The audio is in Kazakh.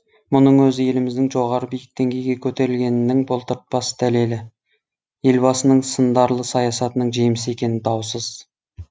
мұның өзі еліміздің жоғары биік деңгейге көтерілгенінің бұлтартпас дәлелі елбасының сындарлы саясатының жемісі екені даусыз